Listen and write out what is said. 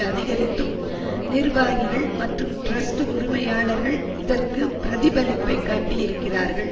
அதிகரித்தும் நிர்வாகிகள் மற்றும் டிரஸ்ட் உரிமையாளர்கள் இதற்கு பிரதிபலிப்பைக் காட்டியிருக்கிறார்கள்